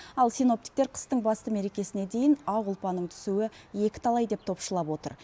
ал синоптиктер қыстың басты мерекесіне дейін ақ ұлпаның түсуі екіталай деп топшылап отыр